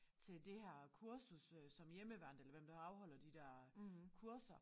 Til det her kursus øh som hjemmeværnet eller hvem der afholder de der kurser